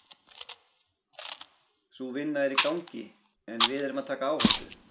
Sú vinna er í gangi en við erum að taka áhættu.